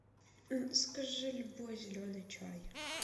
закажи любой зеленый чай